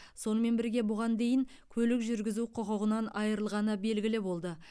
сонымен бірге бұған дейін көлік жүргізу құқығынан айырылғаны белгілі болды